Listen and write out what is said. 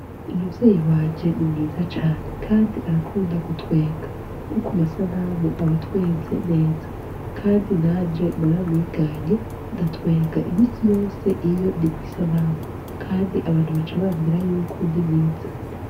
Umuvyeyi wanje ni mwiza cane kandi arakunda gutwenga no kumasanamu aba atwenze neza Kandi nanje naramwiganye ndatwenga iminsi yose iyo ndikwisanamu Kandi abantu baca bambwira yuko ndimwiza.